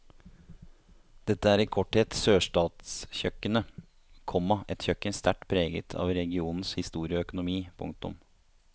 Dette er i korthet sørstatskjøkkenet, komma et kjøkken sterkt preget av regionens historie og økonomi. punktum